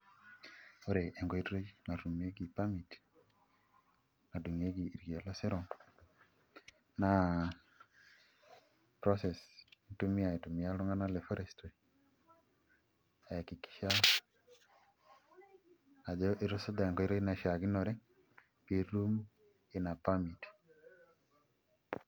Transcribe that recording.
Ore enkoitoi natumieki permit nadung'ieki irkeek losero naa process intumia aitumiaa iltung'anak le forestry aiakikisha ajo itusuja enkoitoi naishiakinore pee itum ina permit.